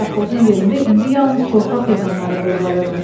Safxozun yerində indi yalnız torpaq yığınları bozarırdı.